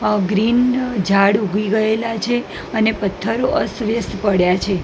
અ green ઝાડ ઊઘી ગયેલા છે અને પથ્થરો અસ્થવ્યસ્થ પડ્યા છે.